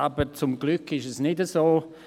Aber zum Glück ist es nicht so.